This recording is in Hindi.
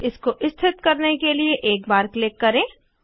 इसको स्थित करने के लिए एक बार क्लिक करें